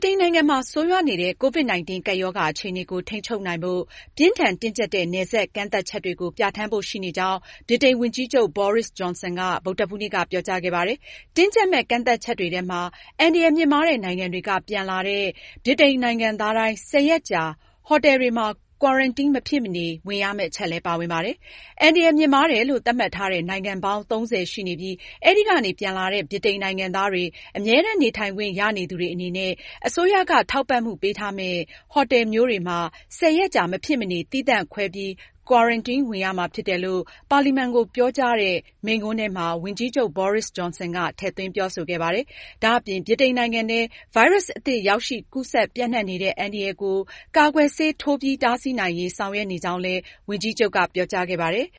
တိန်နိုင်ငံမှာ ဆိုးရွားနေတဲ့ COVID-19 ကပ်ရောဂါအခြေအနေကို ထိန်းချုပ်နိုင်ဖို့ပြင်းထန် တင်းကျပ်တဲ့ နယ်စပ်ကန့်သတ်ချက်တွေကို ပြဌာန်းဖို့ရှိနေကြောင်း ဗြိတိန် ဝန်ကြီးချုပ် Boris Johnson က ဗုဒ္ဓဟူးနေ့ က ကြေညာခဲ့ပါတယ်။ တင်းကျပ်မယ့် ကန့်သတ်ချက်တွေထဲမှာအန္တရာယ်မြင့်မားတဲ့ နိုင်ငံတွေက ပြန်လာလာတဲ့ ဗြိတိန်နိုင်ငံသားတိုင်း ၁၀ ရက်ကြာ ဟိုတယ်တွေမှာ quarantine မဖြစ်မနေဝင်ရမယ့် အချက်လည်း ပါဝင်ပါတယ်။ အန္တရာယ်မြင့်မားတယ်လို့ သတ်မှတ်ထားတဲ့ နိုင်ငံပေါင်း ၃၀ ရှိနေပြီး အဲဒီကနေ ပြန်လာတဲ့ ဗြိတိန်နိုင်ငံသားတွေ၊အမြဲတမ်း နေထိုင်ခွင့်ရနေသူတွေအနေနဲ့ အစိုးရက ထောက်ပံ့မှုပေးထားမယ့် ဟိုတယ်မျိုးတွေမှာ ၁၀ ရက်ကြာ မဖြစ်မနေ သီးသန့် ခွဲပြီး quarantine ဝင်ရမှာ ဖြစ်တယ်လို့ပါလီမန်ကို ပြောကြားတဲ့သူ့ မိန့်ခွန်းထဲမှာ ဝန်ကြီးချုပ် ဂျွန်ဆင်က ထည့်သွင်းပြောဆိုခဲ့ပါတယ်။ ဒါအပြင် ဗြိတိန်နိုင်ငံထဲ ဗိုင်းရပ်စ်အသစ် ရောက်ရှိ ကူးစက်ပြန့်နှံ့နေတဲ့အန္တရာယ်ကို ကာကွယ်ဆေးထိုးပြီး တားဆီးနိုင်ရေး ဆောင်ရွက်နေကြောင်းလည်း ဝန်ကြီးချုပ်က ပြောကြားခဲ့ပါတယ်။